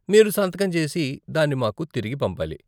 మీరు సంతకం చేసి దాన్ని మాకు తిరిగి పంపాలి .